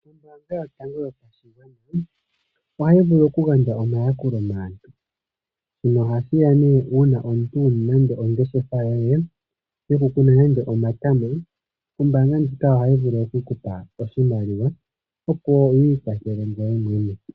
Ombaanga yotango yopashigwana ohayi vulu oku gandja omayakulo maantu, shino oha shiya nee uuna omuntu wuna nande ongeshefa yoye yo kukuna nande omatama, ombaanga ndjika ohayi vulu oku kupa oshimaliwa opo wiikwathele ngweye mwene